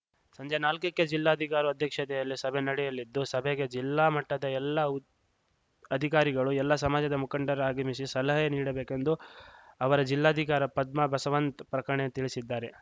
ಸಂಜೆ ನಾಲ್ಕಕ್ಕೆ ಜಿಲ್ಲಾಧಿಕಾರಿ ಅಧ್ಯಕ್ಷತೆಯಲ್ಲಿ ಸಭೆ ನಡೆಯಲಿದ್ದು ಸಭೆಗೆ ಜಿಲ್ಲಾ ಮಟ್ಟದ ಎಲ್ಲಾ ಉ ಅಧಿಕಾರಿಗಳು ಎಲ್ಲಾ ಸಮಾಜದ ಮುಖಂಡರು ಆಗಮಿಸಿ ಸಲಹೆ ನೀಡಬೇಕೆಂದು ಅವರ ಜಿಲ್ಲಾಧಿಕಾರ ಪದ್ಮಾ ಬಸವಂತ್ ಪ್ರಕಟಣೆಯಲ್ಲಿ ತಿಳಿಸಿದ್ದಾರೆ